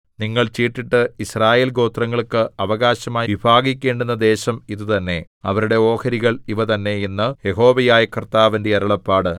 നിങ്ങൾ ചീട്ടിട്ട് യിസ്രായേൽ ഗോത്രങ്ങൾക്ക് അവകാശമായി വിഭാഗിക്കേണ്ടുന്ന ദേശം ഇതുതന്നെ അവരുടെ ഓഹരികൾ ഇവ തന്നെ എന്ന് യഹോവയായ കർത്താവിന്റെ അരുളപ്പാട്